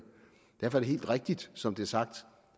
derfor er det helt rigtigt som det er sagt